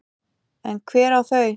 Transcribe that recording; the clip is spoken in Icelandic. En hver á þau?